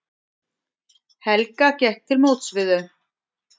Helga gekk til móts við þau.